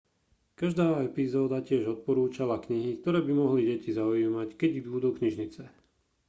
každá epizóda tiež odporúčala knihy ktoré by mohli deti zaujímať keď idú do knižnice